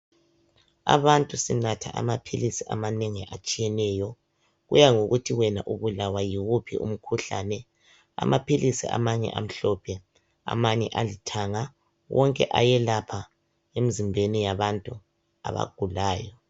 Abantu banatha amaphilisi amanengi atshiyeneyo kuya ngokuthi wena ubulawa yiwuphi umkhuhlane. Amaphilisi amanye amhlophe amanye alithanga wonke ayelapha emzimbeni yabantu abagulayo.